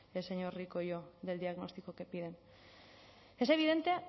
el señor rico y yo del diagnóstico que piden es evidente